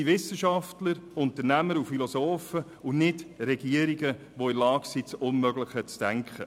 Es sind Wissenschafter, Unternehmer, Philosophen und nicht Regierungen, die in der Lage sind, das Unmögliche zu denken.